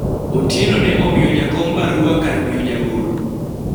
Otieno ne omiyo jakom barua kar miyo jagoro